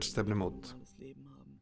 stefnumót við